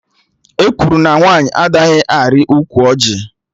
Ekwuru na nwaanyị anaghị arị ukwu ọjị